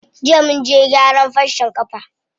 Jiya munje gyaran farcen ƙafa.